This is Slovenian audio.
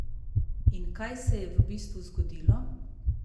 In kaj se je v bistvu zgodilo?